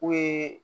U ye